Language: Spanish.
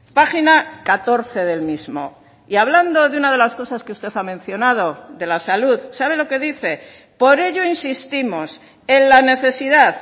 página catorce del mismo y hablando de una de las cosas que usted ha mencionado de la salud sabe lo que dice por ello insistimos en la necesidad